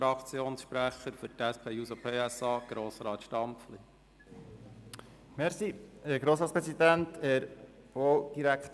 Für die SP-JUSO-PSA-Fraktion hat Grossrat Stampfli das Wort.